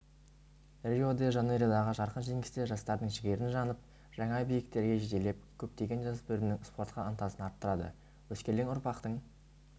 рио-де-жанейродағы жарқын жеңістер жастардың жігерін жанып жаңа биіктерге жетелеп көптеген жасөспірімдердің спортқа ынтасын арттырады өскелең ұрпақтың